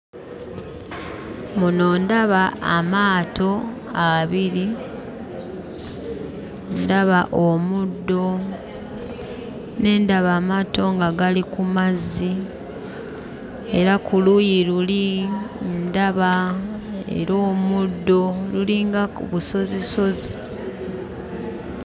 Muno ndaba amaato abiri, ndaba omuddo, ne ndaba amaato nga gali ku mazzi, era ku luuyi luli ndaba era omuddo, lulinga busozisozi.